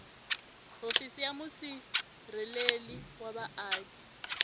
hofisi ya musirheleli wa vaaki